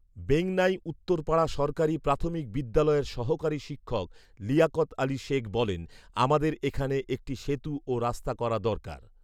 বেংনাই উত্তরপাড়া সরকারি প্রাথমিক বিদ্যালয়ের সহকারি শিক্ষক লিয়াকত আলী শেখ বলেন, আমদের এখানে একটি সেতু ও রাস্তা করা দরকার